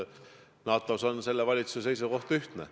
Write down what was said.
NATO küsimuses on selle valitsuse seisukoht ühtne.